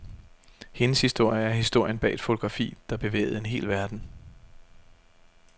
Hendes historie er historien bag et fotografi, der bevægede en hel verden.